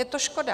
Je to škoda.